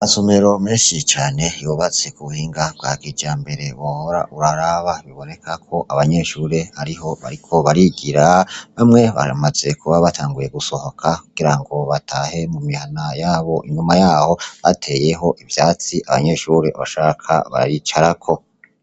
Amasomero menshi cane yubatse ku buhinga bwa kijambere wohora uraraba. biboneka ko abanyeshure ariho bariko barigira, bamwe baramaze kuba batanguye gusohoka kugira ngo batahe mu mihana yabo. Inyuma yaho hateyeho ivyatsi. Abanyeshure bashaka bicarako.